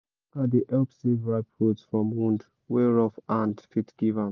dey help save ripe fruit from wound wey rough hand fit give am